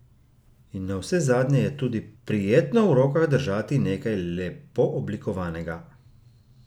In navsezadnje je tudi prijetno v rokah držati nekaj lepo oblikovanega.